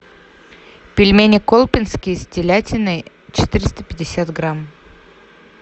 пельмени колпинские с телятиной четыреста пятьдесят грамм